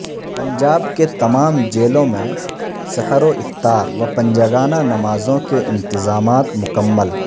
پنجاب کے تما م جیلوں میں سحر و افطار و پنجگانہ نمازوں کے انتظامات مکمل